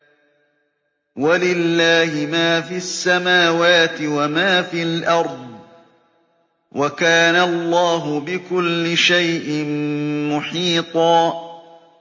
وَلِلَّهِ مَا فِي السَّمَاوَاتِ وَمَا فِي الْأَرْضِ ۚ وَكَانَ اللَّهُ بِكُلِّ شَيْءٍ مُّحِيطًا